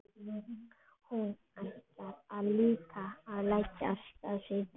Hún ætlaði líka að leggja af stað síðdegis.